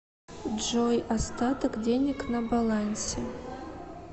джой остаток денег на балансе